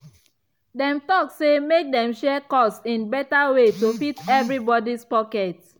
dem talk say make dem share cost in better way to fit everybody’s pocket.